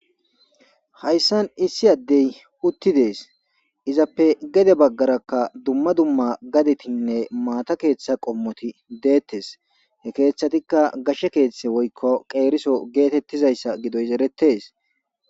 Hayssan issi addey uttidees izappe gede baggarakka dumma dumma gadetinne maata keeththa qommoti deettes he keeththatikka gashshe keeththe woykko qeeriso geetettizayssa gidoy seretes.